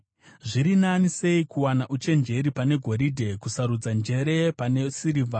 Zviri nani sei kuwana uchenjeri pane goridhe, kusarudza njere pane sirivha!